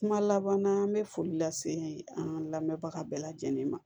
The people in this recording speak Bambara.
Kuma laban na an bɛ foli lase an lamɛnbaga bɛɛ lajɛlen ma